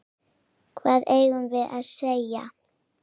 Hvað eigum við að segja?